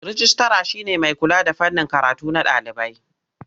Rijistira shi ne mai kula da fannin karatu na ɗalibai.